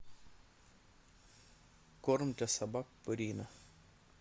корм для собак пурина